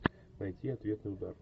найти ответный удар